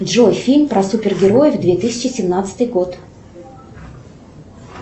джой фильм про супергероев две тысячи семнадцатый год